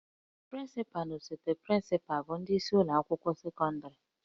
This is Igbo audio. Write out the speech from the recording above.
Prịncịpalụ na osote prịncịpalụ bụ ndị isi ụlọ akwụkwọ sekọndịrị